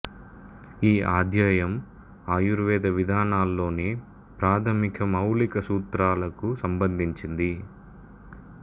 ఈ అధ్యాయం ఆయుర్వేద విధానాల్లోని ప్రాథమిక మౌలిక సూత్రాలకు సంబంధించింది